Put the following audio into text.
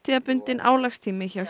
árstíðarbundinn álagstími hjá